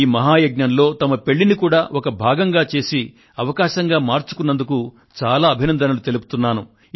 ఈ మహాయజ్ఞంలో తమ పెళ్ళిని కూడా ఒక భాగంగా చేసి అవకాశంగా మార్చుకున్నందుకు చాలా అభినందనలు తెలుపుతున్నాను